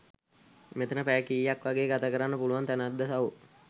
මෙතන පැය කීයක් වගේ ගත කරන්න පුලුවන් තැනක්ද සහෝ?